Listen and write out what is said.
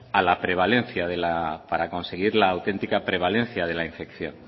a la prevalencia de la para conseguir la auténtica prevalencia de la infección